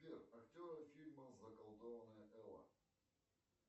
сбер актеры фильма заколдованная элла